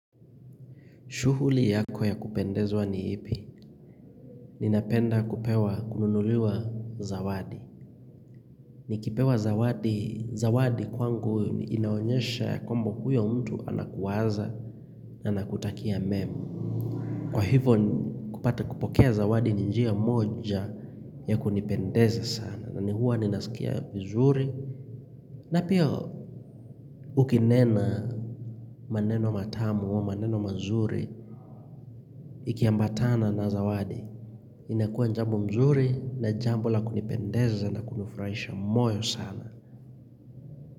Shughuli yako ya kupendezwa ni ipi? Ninapenda kupewa kununuliwa zawadi. Nikipewa zawadi, zawadi kwangu inaonyesha kwamba huyo mtu anakuwaza na anakutakia mema. Kwa hivyo kupata kupokea zawadi ni njia moja ya kunipendeza sana. Nani huwa ninasikia vizuri. Na pia ukinena maneno matamu au maneno mazuri ikiambatana na zawadi. Inakua jambo mzuri na jambo la kunipendeza na kunifurahisha moyo sana.